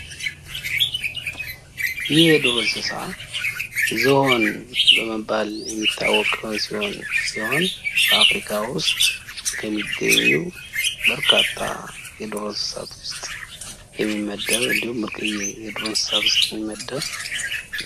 ይህ የዱር እንስሳ ዝሆን በመባል የሚታወቀው ሲሆን በአፍሪካ ውስጥ ከሚገኙ በርካታ የዱር እንስሳት ውስጥ የሚመደብ እንድሁም ብርቅየ የዱር እንስሳት ውስጥ የሚመደብ።